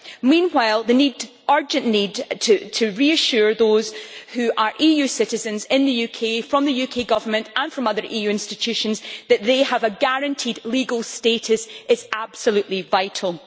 Meanwhile, the urgent need to reassure those who are EU citizens in the UK, by the UK Government and by other EU institutions, that they have a guaranteed legal status is absolutely vital.